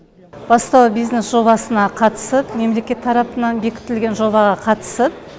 бастау бизнес жобасына қатысып мемлекет тарапынан бекітілген жобаға қатысып